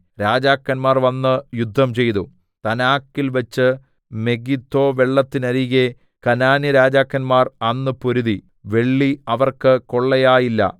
രാജാക്കന്മാർ വന്ന് യുദ്ധംചെയ്തു താനാക്കിൽവെച്ച് മെഗിദ്ദോവെള്ളത്തിനരികെ കനാന്യരാജാക്കന്മാർ അന്ന് പൊരുതി വെള്ളി അവർക്ക് കൊള്ളയായില്ല